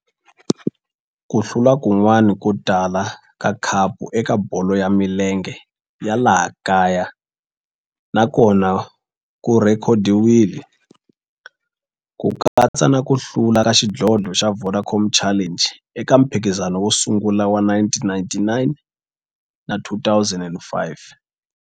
Ku hlula kun'wana ko tala ka khapu eka bolo ya milenge ya laha kaya na kona ku rhekhodiwile, ku katsa na ku hlula ka xidlodlo xa Vodacom Challenge eka mphikizano wo sungula wa 1999 na 2005.